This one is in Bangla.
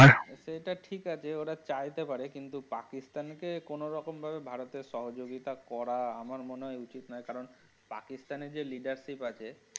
সেটা ঠিক আছে ওরা চাইতে পারে কিন্তু পাকিস্তান কে কোনো রকমভাবে ভারত এর সহযোগিতা করা আমার মনে হয় উচিত না কারণ পাকিস্তান এ যে leadership অছে।